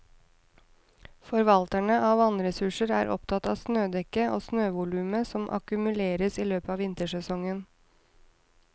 Forvalterne av vannressurser er opptatt av snødekket og snøvolumet som akkumuleres i løpet av vintersesongen.